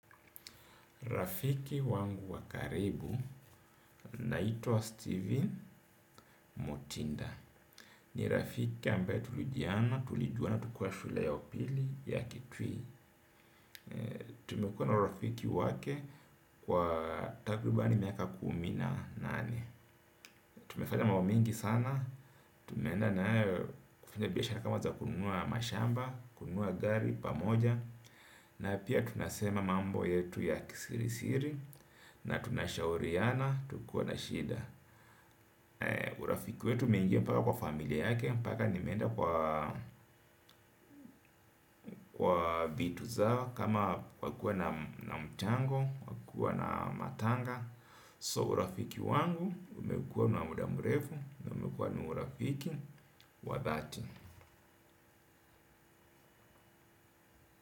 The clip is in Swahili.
Rafiki wangu wa karibu anaitwa Steven Motinda. Ni rafiki ambaye tulijuana, tulijuana, tukiwa shule ya upili ya kitui. Tumekuwa na urafiki wake kwa takriban miaka kumi na nane, tumefanya mambo mingi sana tumeenda na yeye kufanya biashara kama kununua mashamba kununua gari pamoja na pia tunasema mambo yetu ya kisirisiri na tunashauriana, tukiwa na shida urafiki wetu imeingia mpaka kwa familia yake mpaka nimeenda kwa kwa vitu zao kama wakuwe na mchango, wakuwe na matanga. So urafiki wangu, umekuwa na muda mrefu na umekuwa na urafiki, wa dhati.